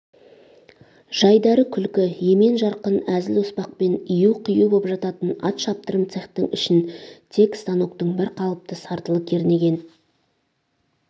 жайдары күлкі емен-жарқын әзіл-оспақпен ию-қию боп жататын ат шаптырым цехтің ішін тек станоктың бір қалыпты сартылы кернеген